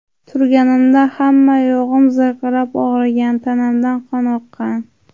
Turganimda hamma yog‘im zirqirab og‘rigan, tanamdan qon oqqan.